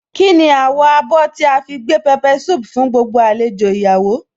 Kíni àwọ̀ abọ́ tí a fi gbé pepper soup fún gbogbo àlejò ìyàwó